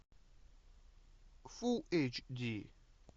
фул эйч ди